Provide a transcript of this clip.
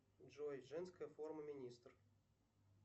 джой женская форма министр